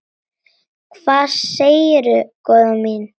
Hvað segirðu góða mín?